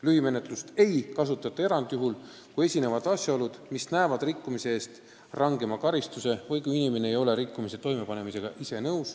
Lühimenetlust ei kasutata erandjuhul, kui esinevad asjaolud, mis näevad rikkumise eest ette rangema karistuse, või kui inimene ei tunnista, et ta rikkumise toime pani.